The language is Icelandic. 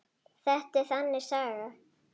Þetta er þannig saga.